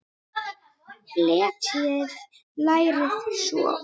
Fletjið lærið svo út.